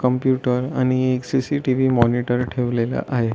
Computer आणि एक CCTV. Monitor ठेवलेला आहे.